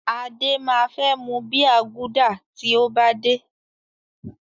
Adé máa fẹ́ mu bíà Gúdà tí ó bá dé.